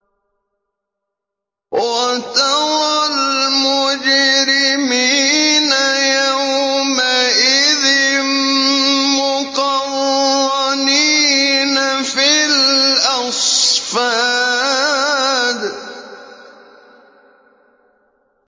وَتَرَى الْمُجْرِمِينَ يَوْمَئِذٍ مُّقَرَّنِينَ فِي الْأَصْفَادِ